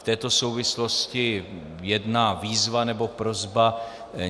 V této souvislosti jedna výzva, nebo prosba.